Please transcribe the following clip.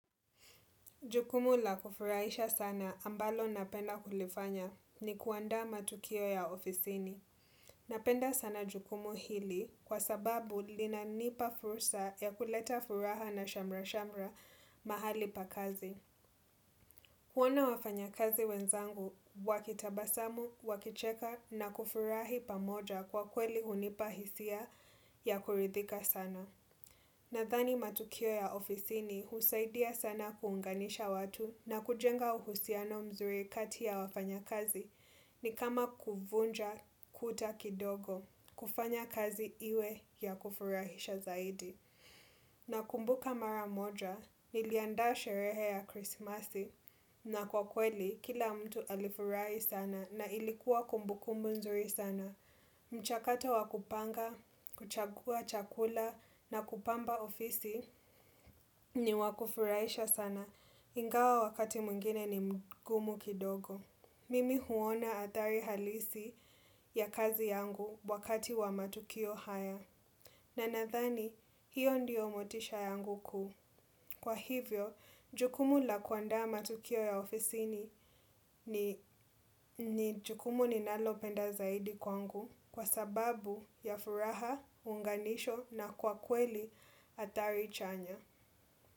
Jukumu la kufurahisha sana ambalo napenda kulifanya ni kuandaa matukio ya ofisini. Napenda sana jukumu hili kwa sababu linanipa fursa ya kuleta furaha na shamra-shamra mahali pakazi. Kuona wafanyakazi wenzangu, wakitabasamu, wakicheka na kufurahi pamoja kwa kweli hunipa hisia ya kuridhika sana. Nadhani matukio ya ofisini husaidia sana kuunganisha watu na kujenga uhusiano mzuri kati ya wafanya kazi ni kama kuvunja kuta kindogo, kufanya kazi iwe ya kufurahisha zaidi. Nakumbuka mara moja, niliandaa sherehe ya krisimasi na kwa kweli kila mtu alifurahi sana na ilikuwa kumbu kumbu nzuri sana. Mchakato wakupanga, kuchagua chakula na kupamba ofisi ni wakufurahisha sana ingawa wakati mwingine ni mgumu kidogo. Mimi huona hatari halisi ya kazi yangu wakati wa matukio haya. Na nadhani, hiyo ndiyo motisha yangu kuu. Kwa hivyo, jukumu la kuandaa matukio ya ofisini ni jukumu ninalopenda zaidi kwangu kwa sababu ya furaha, unganisho na kwa kweli athari chanya.